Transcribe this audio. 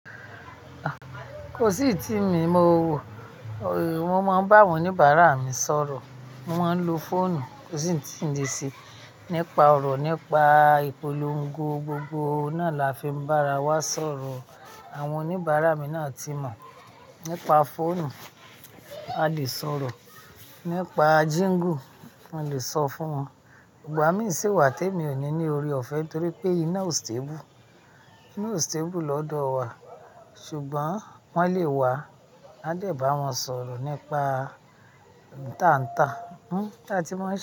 Kò sí ìtìmi, mo wo, mo máa ń bá wọn oníbàárà mi sọ̀rọ̀, mo máa ń lo fóònù, kò sì eyití n le ṣe nípa ọ̀rọ̀ nípa ìpolongo, gbogbo náà làá fi bá wa sọ̀rọ̀. Àwọn oníbàárà mi náà ti mọ̀, nípa fóònù a lè sọ̀rọ̀, nípa Jíǹgù mo lè sọ fún wọn. Ìgbà mí sì wá tó èmi ò ní ní ọrẹ ọ̀fẹ́ torí pé iná ò steebù. Iná ò steebù lọ́dọ̀ wa ṣùgbọ́n wọ́n lè wá, a dẹ̀ bá wọn sọ̀rọ̀ nípa ohun tàǹtà, hm, bì a tí màán ń ṣe.